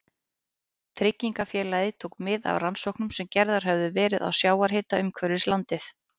Tryggingafélagið tók mið af rannsóknum sem gerðar höfðu verið á sjávarhita umhverfis landið.